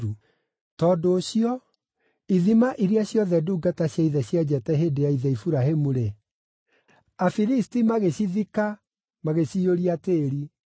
Tondũ ũcio, ithima iria ciothe ndungata cia ithe cienjete hĩndĩ ya ithe Iburahĩmu-rĩ, Afilisti magĩcithika, magĩciyũria tĩĩri.